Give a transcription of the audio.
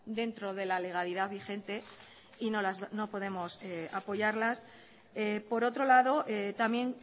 dentro de la legalidad vigente y no podemos apoyarlas por otro lado también